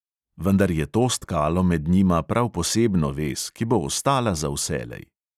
Vendar je to stkalo med njima prav posebno vez, ki bo ostala za vselej.